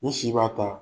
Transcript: N si b'a ta